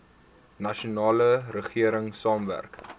nasionale regering saamwerk